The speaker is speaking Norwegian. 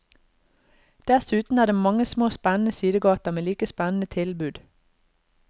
Dessuten er det mange små spennende sidegater med like spennende tilbud.